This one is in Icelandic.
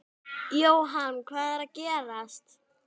Jóhann, hvað er að gerast?